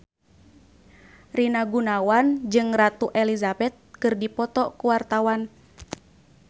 Rina Gunawan jeung Ratu Elizabeth keur dipoto ku wartawan